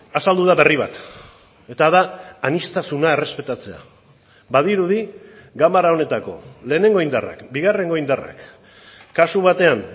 azaldu da berri bat eta da aniztasuna errespetatzea badirudi ganbara honetako lehenengo indarrak bigarrengo indarrak kasu batean